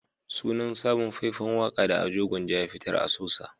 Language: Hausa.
Sunan sabon fai-fan waka da Ado Gwanja ya fitar "A Sosa"